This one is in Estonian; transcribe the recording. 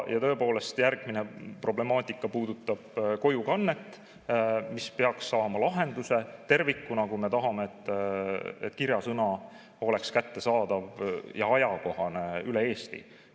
Ja tõepoolest, järgmine problemaatika puudutab kojukannet, mis peaks saama lahenduse tervikuna, kui me tahame, et kirjasõna oleks kättesaadav ja ajakohane üle Eesti.